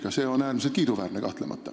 See on kahtlemata äärmiselt kiiduväärne.